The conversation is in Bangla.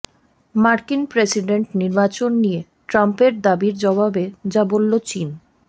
মার্কিন প্রেসিডেন্ট নির্বাচন নিয়ে ট্রাম্পের দাবির জবাবে যা বলল চীন